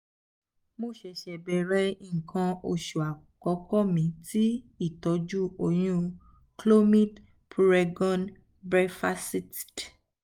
mo se se bẹrẹ ikan osu akoko mi ti itọju oyun - clomid puregon brevactid